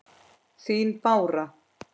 Þín Bára.